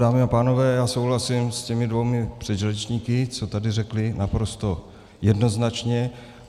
Dámy a pánové, já souhlasím s těmi dvěma předřečníky, co tady řekli, naprosto jednoznačně.